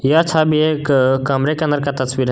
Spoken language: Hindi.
यह छवि एक कमरे के अंदर का तस्वीर है।